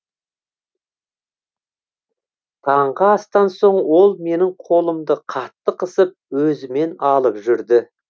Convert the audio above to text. таңғы астан соң ол менің қолымды қатты қысып өзімен алып жүрді